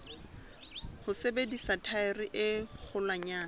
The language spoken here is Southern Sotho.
ho sebedisa thaere e kgolwanyane